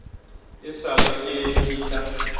e sa le ke fihla